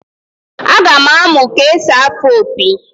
Aga m amụ ka-esi afụ opi